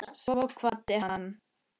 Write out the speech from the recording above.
Svo kvaddi hann.